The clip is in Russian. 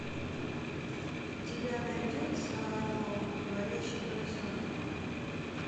у тебя найдется арло говорящий поросенок